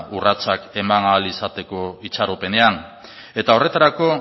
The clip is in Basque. urratsak eman ahal izateko itxaropenean eta horretarako